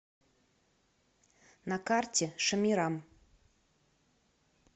на карте шамирам